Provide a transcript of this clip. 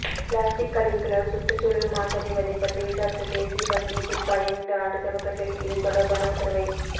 plastic கழிவுகளால் சுற்றுச்சூழல் மாசடைவதை பற்றி விசாரித்த தேசிய பசுமை தீர்ப்பாயம் இந்த ஆண்டு துவக்கத்தில் இது தொடர்பான உத்தரவை